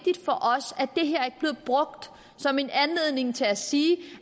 brugt som en anledning til at sige